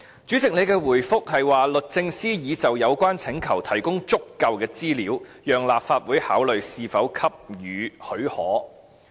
主席的回覆，是說律政司已就有關請求提供足夠資料，讓立法會考慮是否給予許可。